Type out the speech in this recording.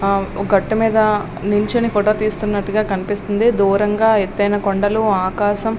ఆ ఒక గట్టుమీద నిల్చుని ఫోటో తీస్తున్నట్టుగా కనిపిస్తుంది దూరం గా ఎత్తైన కొండలు ఆకాశం.